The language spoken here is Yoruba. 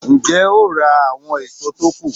Ń jẹ́ ó ra àwọn èso tó kù